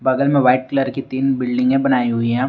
बगल में white colour की तीन बिल्डिंगे बनाई हुई हैं।